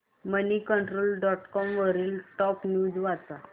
Moneycontrol dot com वरील top news वाच